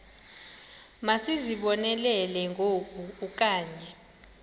masizibonelele ngoku okanye